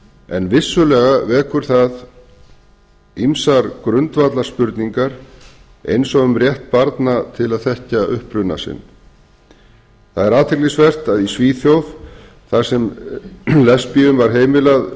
en vissulega vekur það ýmsar grundvallarspurningar eins og um rétt barna til að þekkja uppruna sinn það er athyglisvert að í svíþjóð þar sem lesbíum var heimilað fyrr